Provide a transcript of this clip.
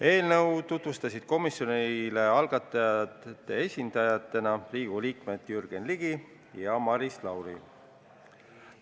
Eelnõu tutvustasid komisjonile algatajate esindajatena Riigikogu liikmed Jürgen Ligi ja Maris Lauri.